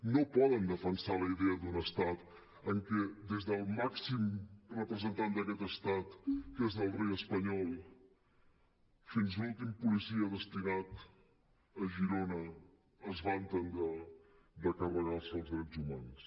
no poden defensar la idea d’un estat en què des del màxim representant d’aquest estat que és el rei espanyol fins a l’últim policia destinat a girona es vanten de carre·gar·se els drets humans